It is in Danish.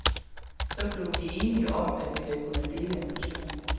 Så blev vi enige om, at vi da kunne dele en portion.